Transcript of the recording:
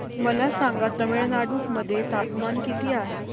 मला सांगा तमिळनाडू मध्ये तापमान किती आहे